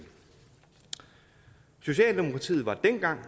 socialdemokratiet var dengang